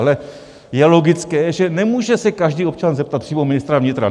Ale je logické, že nemůže se každý občan zeptat přímo ministra vnitra.